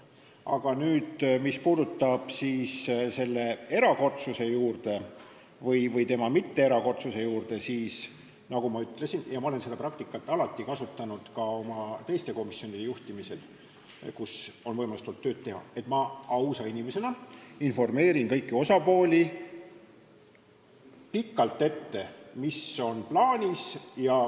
Aga mis puudutab selle erakordsust või mitteerakordsust, siis nagu ma ütlesin, ma olen ka teiste komisjonide juhtimisel, kus on võimalus olnud tööd teha, kasutanud seda praktikat, et ma ausa inimesena informeerin kõiki osapooli pikalt ette, mis on plaanis.